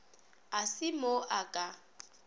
e se mo a ka